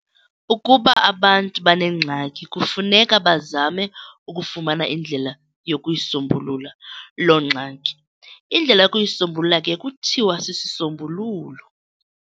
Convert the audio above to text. Ukuba abantu banengxaki, kufuneka bazame ukufumana indlela yokuyi"sombulula" loo ngxaki. indlela yokuyisombulula ke kuthiwa sisisombululo.